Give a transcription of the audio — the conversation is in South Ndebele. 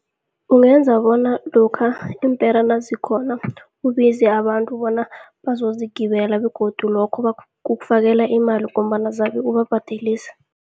Ungenza bona lokha iimpera nazikhona, ubize abantu bona bazozigibela begodu lokho kukufakela imali, ngombana zabe ubabhadelisa.